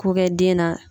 Ko kɛ den na